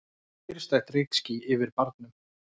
Kyrrstætt reykský yfir barnum.